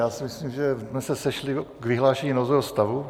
Já si myslím, že jsme se sešli k vyhlášení nouzového stavu.